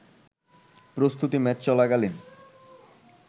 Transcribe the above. প্রস্তুতি ম্যাচ চলাকালীন